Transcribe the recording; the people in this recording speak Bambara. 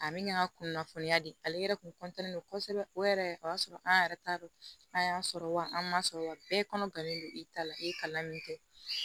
A min y'a kunnafoniya di ale yɛrɛ kun kosɛbɛ o yɛrɛ o y'a sɔrɔ an yɛrɛ t'a dɔn n'a y'a sɔrɔ wa an man sɔrɔ wa bɛɛ kɔnɔ gannen don i ta la i ye kalan min kɛ